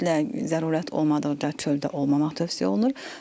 Ümumiyyətlə, zərurət olmadıqda çöldə olmamaq tövsiyə olunur.